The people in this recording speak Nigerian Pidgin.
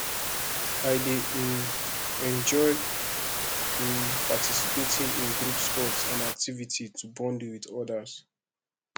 i dey um enjoy um participating in group sports and activities to bond with others